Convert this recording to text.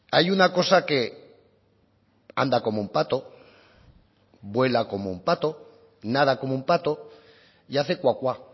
hay una cosa que anda como un pato vuela como un pato nada como un pato y hace cuacua